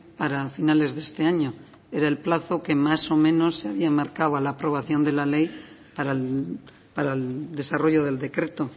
para finales de este año era el plazo que más o menos se habían marcado a la aprobación de la ley para el desarrollo del decreto